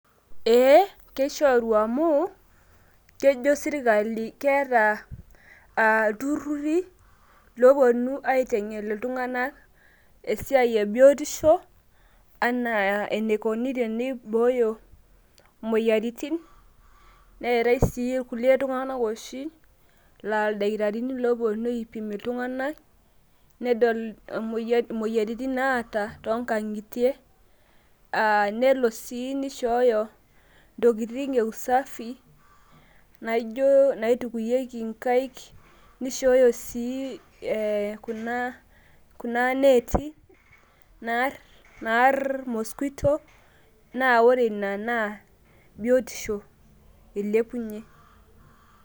Ekishoruu amuu kejo sirkali keeta ilturrurri looponu aitengen ltunganak esiaai ebiotisho enaa eneikoni teneibooyo imoyiarritin, neatae sii kule tunganak oshii laa ildakitarini looponu aipim ltunganak nedol imoyiarritin naata too inkang'itie nelo sii neishooyo ntokitin e usafi naaijo naitukuiyeki inkaik neishooyo sii kuna neeti naarr pcs]mosquito naa ore nena naa biotisho eilepunye.